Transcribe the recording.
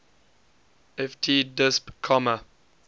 ft disp comma